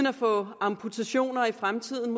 at få amputationer i fremtiden